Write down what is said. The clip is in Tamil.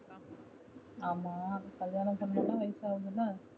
ஆமா கல்யாணம் பண்ணனும் ல வயசு ஆகுதுல